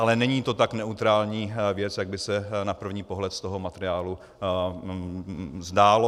Ale není to tak neutrální věc, jak by se na první pohled z toho materiálu zdálo.